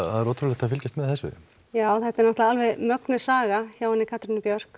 er ótrúlegt að fylgjast með þessu já þetta er náttúrulega alveg mögnuð saga hjá henni Katrínu Björk